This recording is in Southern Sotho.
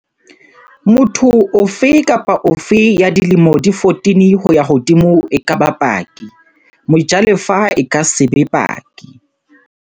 Motho ofe kapa ofe ya dilemo di 14 ho ya hodimo e ka ba paki. Mojalefa e ka se be paki.